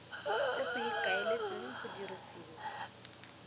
tse go ikaeletsweng go dirisiwa